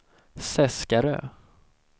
Seskarö